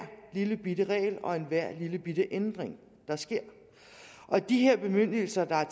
lillebitte regel og enhver lillebitte ændring der sker de her bemyndigelser der